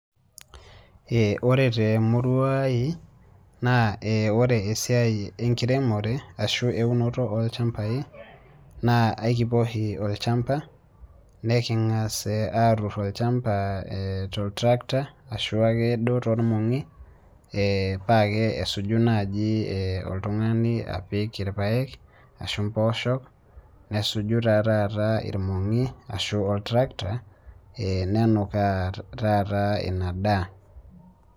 ee ore temurua ai naa ore enkiremore ashu eunoto olchampai. naa ekipuo oshi olchampa, niking'as aatur olchampa, tol tractor, ashu ake duoo toolmong'i ee paa kesuju naaji oltungani, apik irpaek ashu mpooshok, nesuju taa taata, irmong'i ashu ol tractor ee nenukaa taata ina daa.